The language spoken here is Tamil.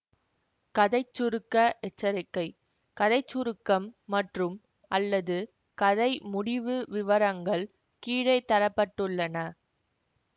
கதை சுருக்க எச்சரிக்கை கதை சுருக்கம் மற்றும்அல்லது கதை முடிவு விவரங்கள் கீழே தர பட்டுள்ளன